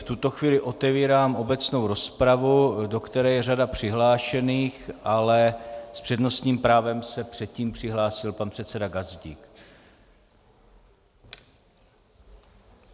V tuto chvíli otevírám obecnou rozpravu, do které je řada přihlášených, ale s přednostním právem se předtím přihlásil pan předseda Gazdík.